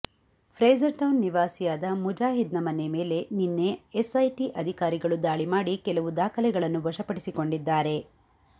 ಫ್ರೇಸರ್ಟೌನ್ ನಿವಾಸಿಯಾದ ಮುಜಾಹಿದ್ನ ಮನೆ ಮೇಲೆ ನಿನ್ನೆ ಎಸ್ಐಟಿ ಅಧಿಕಾರಿಗಳು ದಾಳಿ ಮಾಡಿ ಕೆಲವು ದಾಖಲೆಗಳನ್ನು ವಶ ಪಡಿಸಿಕೊಂಡಿದ್ದಾರೆ